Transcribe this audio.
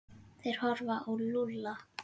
Þeir horfðu á Lúlla.